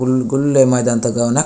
गुल गुल्ले मैदान त गव ना।